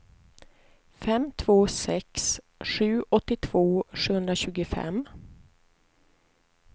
fem två sex sju åttiotvå sjuhundratjugofem